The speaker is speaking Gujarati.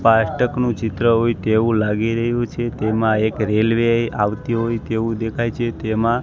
ફાસ્ટકનુ ચિત્ર હોય તેવુ લાગી રહ્યુ છે તેમા એક રેલ્વે આવતી હોય તેવુ દેખાય છે તેમા--